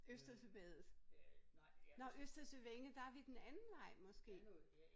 Østersøvæddet? Nårh Østersøvænget der er vi den anden vej måske